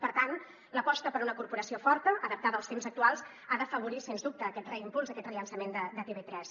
per tant l’aposta per una corporació forta adaptada als temps actuals ha d’afa·vorir sens dubte aquest reimpuls aquest rellançament de tv3